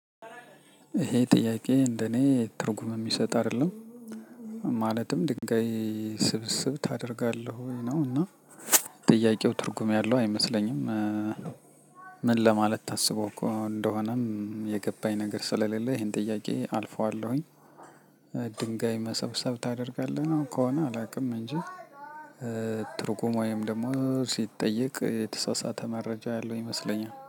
ይሄ ጥያቄ እንደኔ ትርጉም የሚሰጥ አይደለም ማለትም ድንጋይ ስብስብ ታደርጋለህ ወይ ነው እና ጥያቄው ትርጉም ያለው አይመስለኝም። ምን ለማለት ታስቦ እኮ እንደሆነም የገባኝ ነገር ስለሌለ ይሄን ጥያቄ አልፈዋለሁኝ። ድንጋይ መሰብሰብ ታደርጋለህ ነው ከሆነ አላውቅም እንጂ። ትርጉም ወይንም ደግሞ ስጠየቅ የተሳሳተ መረጃ ያለው ይመስለኛል